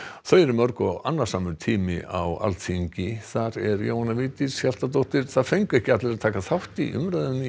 þau eru mörg og annasamur tími fram á Alþingi þar er Jóhanna Vigdís Hjaltadóttir það fengu ekki allir að taka þátt í umræðunni